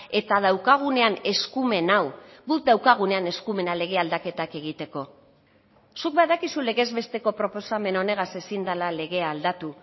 eta daukagunean eskumen hau guk daukagunean eskumena lege aldaketak egiteko zuk badakizu legez besteko proposamen honegaz ezin dela legea aldatu